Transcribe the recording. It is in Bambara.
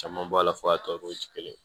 Caman bɔ a la fo a tɔw ti kelen ye